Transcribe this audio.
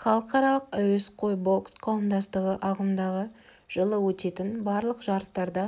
халықаралық әуесқой бокс қауымдастығы ағымдағы жылы өтетін барлық жарыстарда